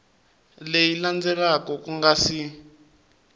leyi landzelaka ku nga si